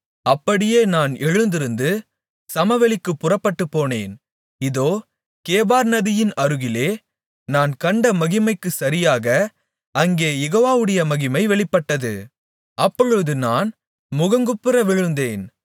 அப்படியே நான் எழுந்திருந்து சமவெளிக்கு புறப்பட்டுப் போனேன் இதோ கேபார் நதியின் அருகிலே நான் கண்ட மகிமைக்குச் சரியாக அங்கே யெகோவாவுடைய மகிமை வெளிப்பட்டது அப்பொழுது நான் முகங்குப்புற விழுந்தேன்